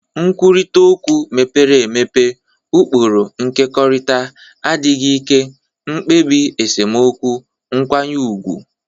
Nkwurịta okwu mepere emepe, ụkpụrụ nkekọrịta, adịghị ike, mkpebi esemokwu nkwanye ùgwù.